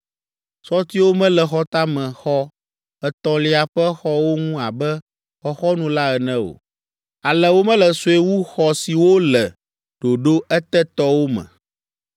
Sɔtiwo mele xɔtamexɔ etɔ̃lia ƒe xɔwo ŋu abe xɔxɔnu la ene o, ale wo me le sue wu xɔ siwo le ɖoɖo etetɔwo me.